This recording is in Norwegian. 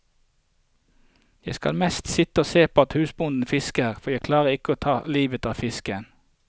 Jeg skal mest sitte og se på at husbonden fisker, for jeg klarer ikke å ta livet av fisken.